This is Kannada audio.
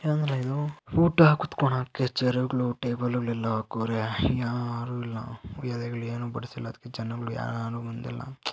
ಏನ್ಲಾ ಇದು ಊಟುಕ್ ಕುತ್ಕೊಳಕ್ಕೆ ಚೇರುಗಳು ಟೇಬಲ್ ಗಳೆಲ್ಲ ಹಾಕಿದ್ದಾರೆ ಯಾರು ಇಲ್ಲ ಎಲೆಗಳಲ್ಲಿ ಏನೂ ಬರ್ತಿಲ್ಲ ಅದಕ್ಕೆ ಜನಗಳು ಯಾರು ಬಂದಿಲ್ಲ--